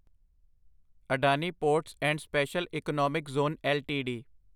Adani ports and special economic zone LTD